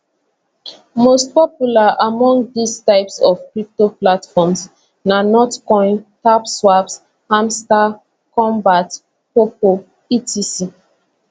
most popular among dis types of crypto platforms na notcoin tapswap hamstar kombat poppo etc